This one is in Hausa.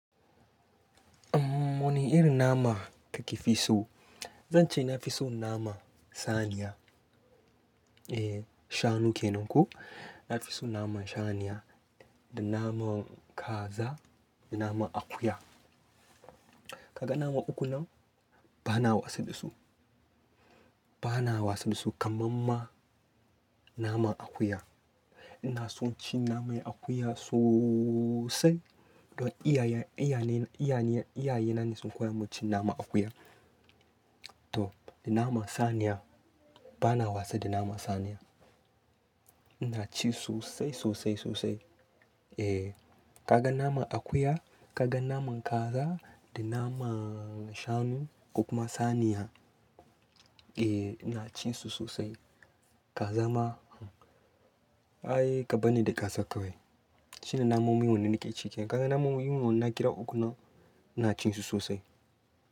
Wane irin nama kake fi so? Zan ce na fi so naman saniya. E, shanu ke nan ko? Na fi so naman shaniya, da naman kaza, da naman akuya. Kaga nama uku nan, bana wasa da su. Bana wasa da su kaman ma naman akuya. Ina son ci naman akuya sosai. To iyaye iyane, iyaye na ne sun koya mun cin naman akuya. To, da naman saniya bana wasa da naman saniya. Ina ci sosai, sosai, sosai. E, kaga naman akuya, kaga naman kaza, da naman shanu, ko kuma saniya. E, ina cin su sosai. Kaza ma, ai kabarni ni da ƙasa kawai. Shine namomin wanne nake ci kenan. Kaga namomin mu wannan na kira uku nan, ina cin su sosai.